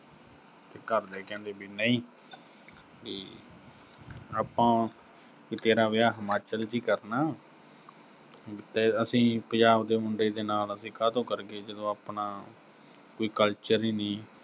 ਤੇ ਘਰ ਦੇ ਕਹਿੰਦੇ ਵੀ ਨਈਂ, ਵੀ ਆਪਾਂ ਤੇਰਾ ਵਿਆਹ ਹਿਮਾਚਲ 'ਚ ਹੀ ਕਰਨਾ ਵੀ ਤੇ ਅਹ ਅਸੀਂ ਪੰਜਾਬ ਦੇ ਮੁੰਡੇ ਦੇ ਨਾਲ ਅਸੀੰ ਕਾਹਤੋਂ ਕਰੀਏ, ਵੀ ਆਪਣਾ ਜਦੋਂ culture ਹੀ ਨੀਂ।